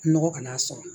Nɔgɔ kana sɔrɔ